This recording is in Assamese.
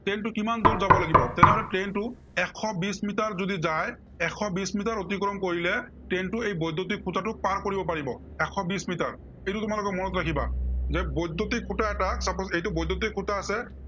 train টো কিমান দূৰ যাব লাগিব, তেনেহলে train টো এশ বিশ মিটাৰ যদি যায়, এশ বিশ মিটাৰ অতিক্ৰম কৰিলে train টো এই বৈদ্য়ুতিক খুটাটোক পাৰ কৰিব পাৰিব। এশ বিশ মিটাৰ। এইটো তোমালোকে মনত ৰাখিবা। যে বৈদ্য়ুতিক খুটা এটা sppose এইটো বৈদ্য়ুতিক খুটা আছে,